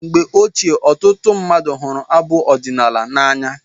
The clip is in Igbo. Mgbe ochie, ọtụtụ mmadụ hụrụ abụ ọdinaala n'anya